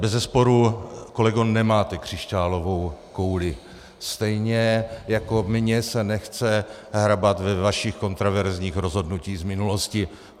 Bezesporu, kolego, nemáte křišťálovou kouli, stejně jako mně se nechce hrabat ve vašich kontroverzních rozhodnutích z minulosti.